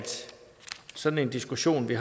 sådan en diskussion vi